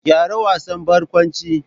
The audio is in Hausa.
Gyara wasan barkwanci.